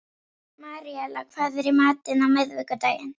Maríella, hvað er í matinn á miðvikudaginn?